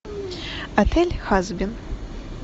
отель хазбин